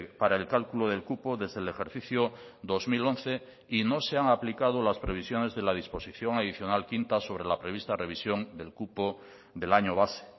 para el cálculo del cupo desde el ejercicio dos mil once y no se han aplicado las previsiones de la disposición adicional quinta sobre la prevista revisión del cupo del año base